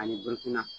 Ani